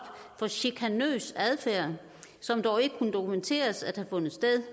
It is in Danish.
for chikanøs adfærd som dog ikke kunne dokumenteres at have fundet sted